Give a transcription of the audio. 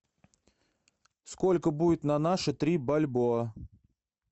сколько будет на наши три бальбоа